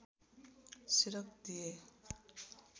सिरक दिए